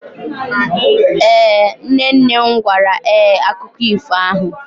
Ee, nne nne m gwara ee akụkọ ifo ahụ.